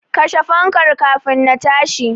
Kashe fankar kafin na tashi.